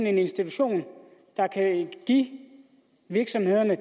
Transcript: en institution der kan give virksomhederne